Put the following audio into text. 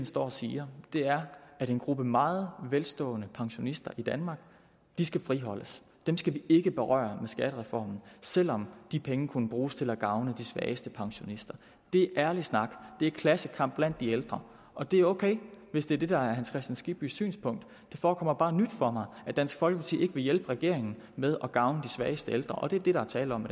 står og siger er at en gruppe meget velstående pensionister i danmark skal friholdes dem skal vi ikke berøre med skattereformen selv om de penge kunne bruges til at gavne de svageste pensionister det er ærlig snak det er klassekamp blandt de ældre og det er ok hvis det er det der er herre hans kristian skibbys synspunkt det forekommer bare nyt for mig at dansk folkeparti ikke vil hjælpe regeringen med at gavne de svageste ældre og det er det der er tale om